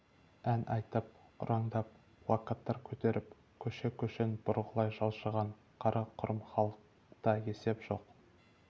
ән айтып ұрандап плакаттар көтеріп көше-көшен бұрғылай жылжыған қара-құрым халықта есеп жоқ